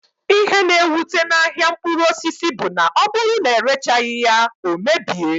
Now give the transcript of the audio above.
Ihe na ewute n'ahia mkpụrụ osisi bụ na ọbụrụ na erechaghi ya, ọ mebie